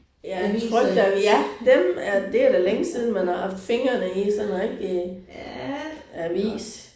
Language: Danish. Ja trykte ja dem er det er da længe siden man har haft fingrene i sådan en rigtig avis